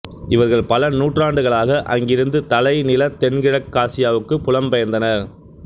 இவர்கள் பல நூற்றாண்டுகளாக அங்கிருந்து தலைநிலத் தென்கிழக்காசியாவுக்குப் புலம் பெயர்ந்தனர்